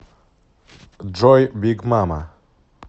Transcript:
джой биг мама